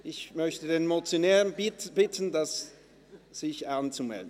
Ich bitte den Motionär, sich anzumelden.